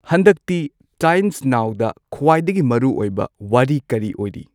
ꯍꯟꯗꯛꯇꯤ ꯇꯥꯏꯝꯁ ꯅꯥꯎꯗ ꯈ꯭ꯋꯥꯏꯗꯒꯤ ꯃꯔꯨ ꯑꯣꯏꯕ ꯋꯥꯔꯤ ꯀꯔꯤ ꯑꯣꯏꯔꯤ